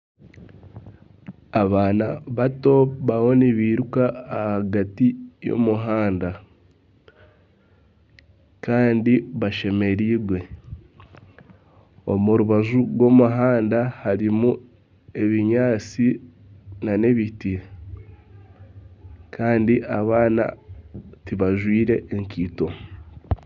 Abaana bato bariyo nibiruka ahagati y'omuhanda kandi bashemerirwe, omu rubaju rw'omuhanda harimu ebinyaatsi n'ebiti kandi abaana tibajwire ekaito.